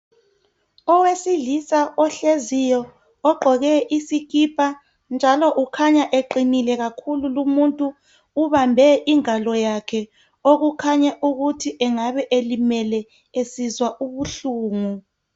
Owesilisa ohleziyo ogqoke iskhipha njalo kukhanya iqinile lo muntu ubambe ingalo yakhe okukhanya ukuthi engabe elimele esizwa ubuhlungu.